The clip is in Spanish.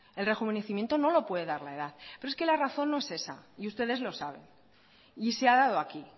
el rejuvenecimiento no lo puede dar la edad pero es que la razón no es esa y ustedes lo saben y se ha dado aquí